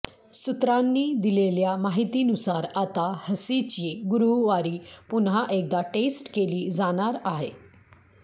सूत्रांनी दिलेल्या माहितीनुसार आता हसीची गुरुवारी पुन्हा एकदा टेस्ट केली जाणार आहे